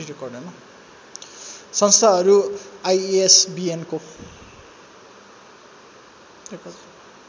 संस्थाहरू आईएसबीएनको